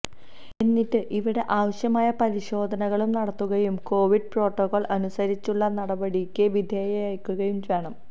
എന്നിട്ട് ഇവിടെ ആവശ്യമായ പരിശോധനകളും നടത്തുകയും കോവിഡ് പ്രോട്ടോകോൾ അനുസരിച്ചുള്ള നടപടികൾക്ക് വിധേയരാക്കുകയും വേണം